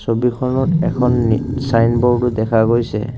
ছবিখনত এখন নি ছাইনব'ৰ্ডও দেখা গৈছে।